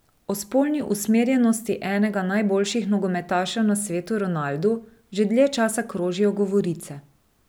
O spolni usmerjenosti enega najboljših nogometašev na svetu Ronaldu že dlje časa krožijo govorice.